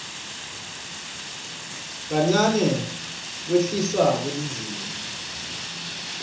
nakancane kwehliswa kwelizinga